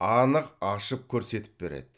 анық ашып көрсетіп береді